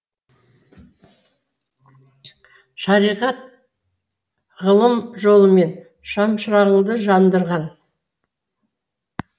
шариғат ғылым жолымен шамшырағыңды жандырған